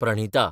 Pranhita